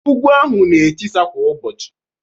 Ugwu ahụ na-etisa kwa ụbọchị